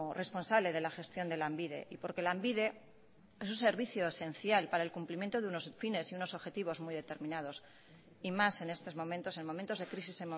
responsable de la gestión de lanbide y porque lanbide es un servicio esencial para el cumplimiento de unos fines y unos objetivos muy determinados y más en estos momentos en momentos de crisis